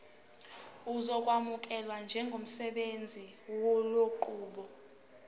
uzokwamukelwa njengosebenzisa lenqubo